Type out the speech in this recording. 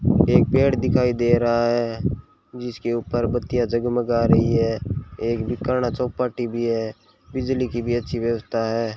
एक पेड दिखाई दे रहा है जिसके ऊपर बत्तियां जगमगा रही है एक बीकांणा चौपाटी भी है बिजली की भी अच्छी व्यवस्था है।